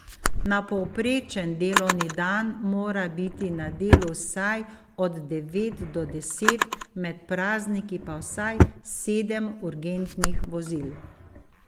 Na povprečen delovni dan mora biti na delu vsaj od devet do deset, med prazniki pa vsaj sedem urgentnih vozil.